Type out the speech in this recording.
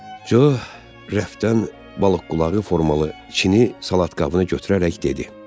Co, rəfdən balıqqulağı formalı çini salat qabını götürərək dedi.